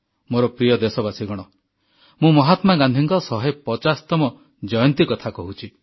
ମୋର ପ୍ରିୟ ଦେଶବାସୀଗଣ ମୁଁ ମହାତ୍ମା ଗାନ୍ଧୀଙ୍କ 150ତମ ଜୟନ୍ତୀ କଥା କହୁଛି